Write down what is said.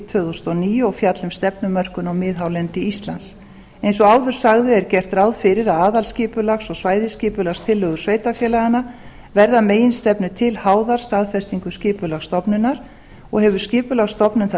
tvö þúsund og níu og fjalli um stefnumörkun á miðhálendi íslands eins og áður sagði er gert ráð fyrir að aðalskipulags og svæðisskipulagstillögur sveitarfélaganna verði að meginstefnu til háðar staðfestingu skipulagsstofnunar og hefur skipulagsstofnun það